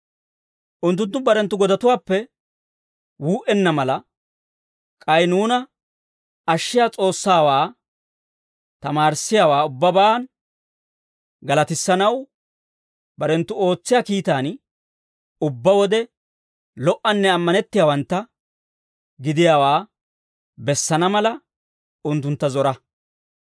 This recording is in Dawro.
Unttunttu barenttu godatuwaappe wuu"enna mala, k'ay nuuna ashshiyaa S'oossawaa tamaarissiyaawaa ubbabaan galatissanaw, barenttu ootsiyaa kiitaan ubbaa wode lo"anne ammanettiyaawantta gidiyaawaa bessana mala, unttuntta zora.